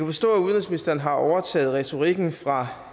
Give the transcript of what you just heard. forstå at udenrigsministeren har overtaget retorikken fra